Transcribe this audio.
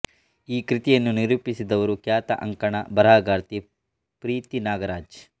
ಈ ಕೃತಿಯನ್ನು ನಿರೂಪಿಸಿದವರು ಖ್ಯಾತ ಅಂಕಣ ಬರಹಗಾರ್ತಿ ಪ್ರೀತಿ ನಾಗರಾಜ್